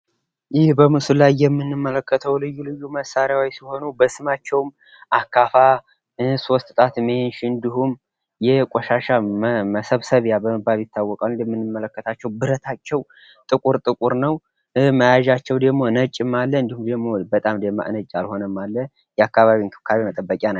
ይህ በምስሉ ላይ የምንመለከተው ልዩ ልዩ መሳሪያዎች ሲሆን፤ በስማቸውም አካፋ፣ ሶስት ጣት መንሽ ፣ እንዲሁም ቆሻሻ መሰብሰቢያ በመባል ይታወቃሉ። የአካባቢ ንጽህና መጠበቂያ መሳሪያዎች ናቸው ።